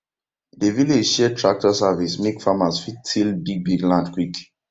dey village share tractor service make farmers fit till bigbig land quick